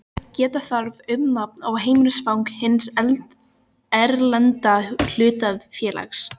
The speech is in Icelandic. Geta þarf um nafn og heimilisfang hins erlenda hlutafélags.